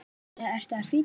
eða ertu að flýta þér?